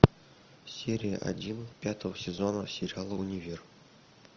серия один пятого сезона сериала универ